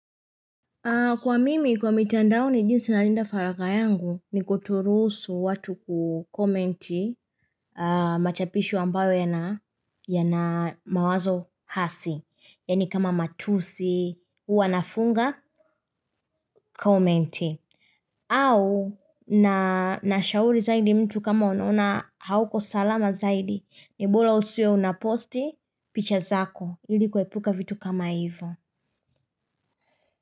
Kwa mimi, kwa mitandao ni jinsi na linda faraka yangu, ni kutorusu watu kukomenti machapisho ambayo ya na mawazo hasi. Yani kama matusi, huwanafunga, komenti. Au, na shauri zaidi mtu kama unaona hauko salama zaidi, ni bola usiwe unaposti, picha zako, ilikue puka vitu kama hivyo.